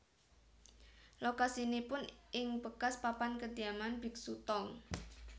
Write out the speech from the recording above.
Lokasinipun ing bekas papan kediaman biksu Tong